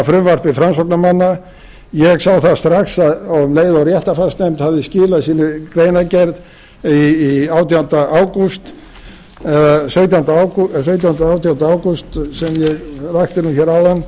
frumvarpi framsóknarmanna ég sá það strax um leið og réttarfarsnefnd hafði skilað sinni greinargerð sautjánda eða átjánda ágúst sem ég rakti nú hér áðan